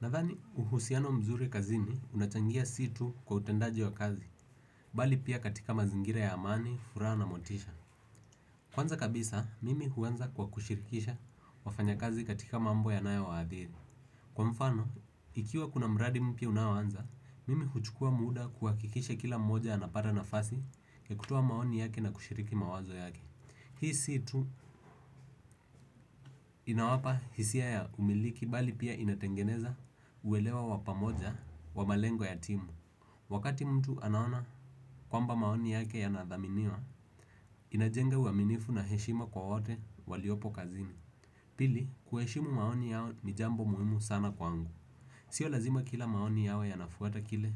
Nadhani uhusiano mzuri kazini unachangia si tu kwa utendaji wa kazi, bali pia katika mazingira ya amani, furaha na motisha. Kwanza kabisa, mimi huanza kwa kushirikisha wafanya kazi katika mambo yanayowaadhiri. Kwa mfano, ikiwa kuna mradi mpya unaoanza, mimi huchukua muda kuhakikisha kila mmoja anapata nafasi ya kutoa maoni yake na kushiriki mawazo yake. Hii si tu inawapa hisia ya umiliki bali pia inatengeneza uelewa wa pamoja wa malengo ya timu. Wakati mtu anaona kwamba maoni yake yanathaminiwa, inajenga uaminifu na heshima kwa wote waliopo kazini. Pili, kuheshimu maoni yao ni jambo muhimu sana kwangu. Sio lazima kila maoni yao yanafuata kile,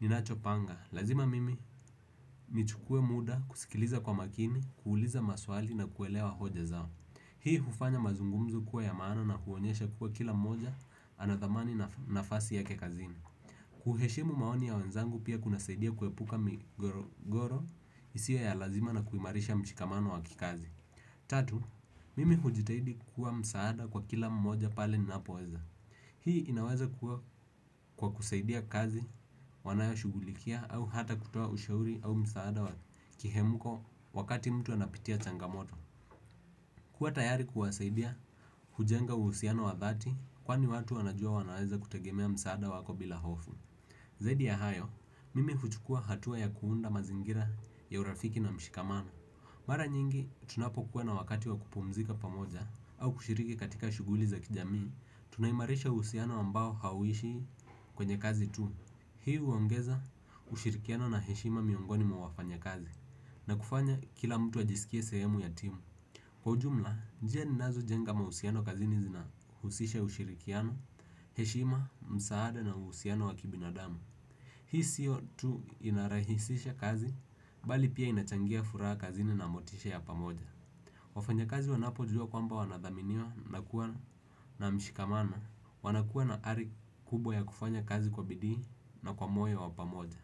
ni nacho panga. Lazima mimi nichukue muda kusikiliza kwa makini, kuuliza maswali na kuelewa hoja zao. Hii hufanya mazungumzo kuwa ya maana na huonyesha kuwa kila mmoja anadhamani na fasi yake kazini. Kuheshimu maoni ya wenzangu pia kunasaidia kuepuka migogoro isiyo ya lazima na kuimarisha mshikamano wa kikazi. Tatu, mimi hujitahidi kuwa msaada kwa kila mmoja pale ninapoweza. Hii inaweza kuwa kwa kusaidia kazi wanayo shughulikia au hata kutoa ushauri au msaada wa kihemuko wakati mtu anapitia changamoto. Kuwa tayari kuwasaidia, hujenga uhusiano wa dhati kwani watu wanajua wanaweza kutegemea msaada wako bila hofu. Zaidi ya hayo, mimi huchukua hatua ya kuunda mazingira ya urafiki na mshikamano. Mara nyingi tunapokuwa na wakati wa kupumzika pamoja au kushiriki katika shughuli za kijamii tunaimarisha uhusiano ambao hauishi kwenye kazi tu. Hii huongeza, ushirikiano na heshima miongoni mwa wafanya kazi, na kufanya kila mtu ajisikie sehemu ya timu. Kwa ujumla, njia ninazo jenga mahusiano kazini zina husisha ushirikiano, heshima, msaada na uhusiano wa kibinadamu. Hii siyo tu inarahisisha kazi, bali pia inachangia furaha kazini na motisha ya pamoja. Wafanya kazi wanapo juwa kwamba wanadhaminiwa na kuwa na mshikamano. Wanakuwa na ari kubwa ya kufanya kazi kwa bidii na kwa moyo wa pamoja.